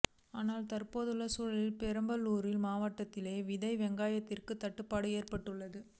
ஆனால் தற்போதுள்ள சூழலில் பெரம்பலூர் மாவட்டத்திலேயே விதை வெங்காயத்திற்கு தட்டுப்பாடு ஏற்பட்டுள்ளது